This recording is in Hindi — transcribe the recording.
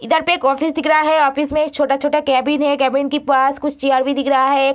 इधर पे एक ऑफिस दिख रहा है ऑफिस में छोटा-छोटा कैबिन है कैबिन के पास कुछ चेयर भी दिख रहा है।